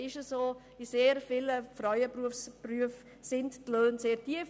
In sehr vielen Frauenberufen sind die Löhne sehr tief.